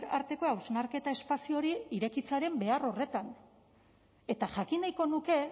arteko hausnarketa espazio hori irekitzearen behar horretan eta jakin nahiko nuke